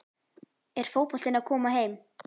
Er fótboltinn að koma heim?